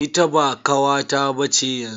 Ita ba kawata ba ce yanzu.